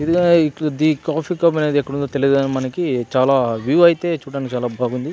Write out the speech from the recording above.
Coffee club ఎక్కడ ఉంది. అని తెలీదు మనకి చాలా వ్యూ అయితే చాలా బాగుంది.